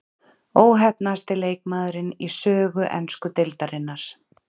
Óheppnasti leikmaðurinn í sögu ensku deildarinnar?